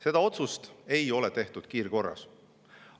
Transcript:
Seda otsust ei ole tehtud kiirkorras.